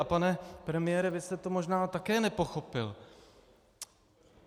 A pane premiére, vy jste to možná také nepochopil.